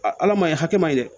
ala maɲi hakɛ ma ɲi dɛ